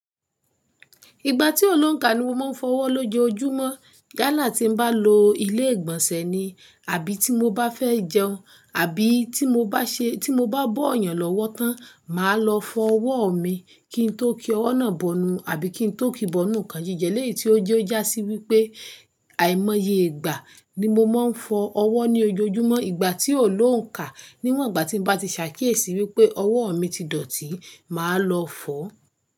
Ìgbà tí ò ló ń kà ni mo máa ń fọ ọwọ́ lójoojúmọ́. Yálà tí n bá lo ilé ìgbọ̀nsẹ̀ ni àbí tí mo bá fẹ́ jẹun, àbí tí mo bá ṣe tí mo bá bọ́ èèyàn lọ́wọ́ tán, màá lọ fọ ọwọ́ mi kí n tó kí ọwọ́ náà bọnu àbí kí n tó kí bọnu nǹkan jíjẹ léèé tí ó jẹ́ ó jásí wípé àìmọye ìgbà ni mo máa ń fọ ọwọ́ ní ojoojúmọ́. Ìgbà tí ò ló ń kà, níwọ̀n ìgbà tí n bá ti ṣàkíyèsí wípé ọwọ́ mi ti dọ̀tí, màá lọ fọ̀